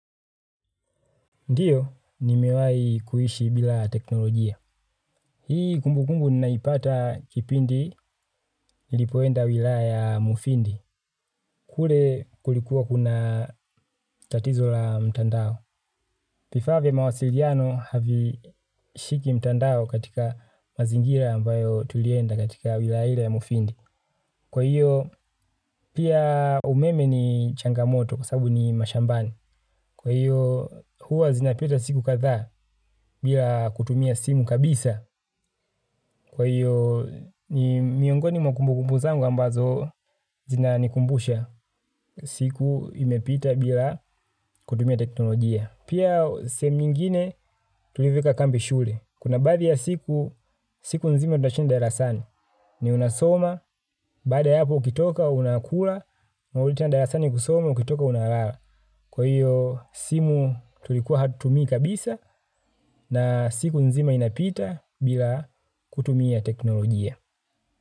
Ndiyo, nimewahi kuishi bila teknolojia. Hii kumbukumbu ninaipata kipindi nilipoenda wilaya ya mufindi. Kule kulikuwa kuna tatizo la mtandao. Vifaa vya mawasiliano havishiki mtandao katika mazingira ambayo tulienda katika wilaya ya mufindi. Kwa hiyo, pia umeme ni changamoto kwa sababu ni mashambani. Kwa hiyo, huwa zinapita siku kadhaa bila kutumia simu kabisa. Kwa hiyo ni miongoni mwa kumbu kumbu zangu ambazo zinanikumbusha siku imepita bila kutumia teknolojia. Pia sehemu nyingine tulivyoweka kambi shule. Kuna baadhiya siku, siku nzima tunashinda darasani. Ni unasoma, baada ya hapo ukitoka unakula, unarudi tena darasani kusoma, ukitoka unalala. Kwa hiyo simu tulikuwa hatumii kabisa na siku nzima inapita bila kutumia teknolojia.